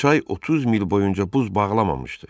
Çay 30 mil boyunca buz bağlamamışdı.